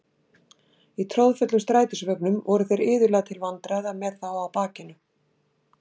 Í troðfullum strætisvögnum voru þeir iðulega til vandræða með þá á bakinu.